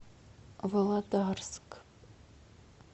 володарск